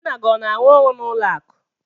Nna gị ọ na-arụ ọrụ n'ụlọ akụ?